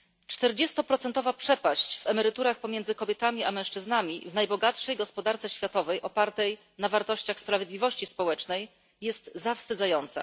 40 przepaść w emeryturach pomiędzy kobietami a mężczyznami w najbogatszej gospodarce światowej opartej na wartościach sprawiedliwości społecznej jest zawstydzająca.